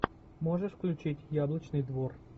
можешь включить яблочный двор